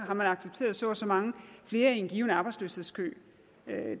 har man accepteret så og så mange flere i en given arbejdsløshedskø